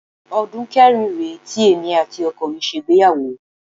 Ọdún kẹrin rèé tí èmi àti ọkọ mi ṣègbéyàwó